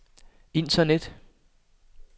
internet